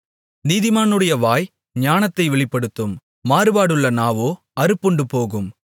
நீதிமானுடைய வாய் ஞானத்தை வெளிப்படுத்தும் மாறுபாடுள்ள நாவோ அறுப்புண்டுபோகும்